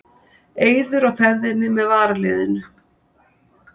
Eiður á ferðinni með varaliðinu